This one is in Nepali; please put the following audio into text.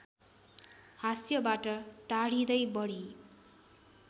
हास्यबाट टाढिदै बढी